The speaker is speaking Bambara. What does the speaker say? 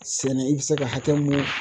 Sɛnɛ i bɛ se ka hakɛ mun